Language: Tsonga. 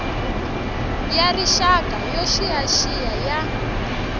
ya rixaka yo xiyaxiya ya